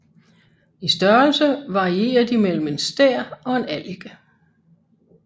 I størrelse varierer de mellem en stær og en allike